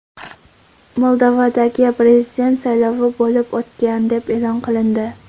Moldovadagi prezident saylovi bo‘lib o‘tgan deb e’lon qilindi.